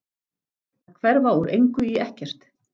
Að hverfa úr engu í ekkert.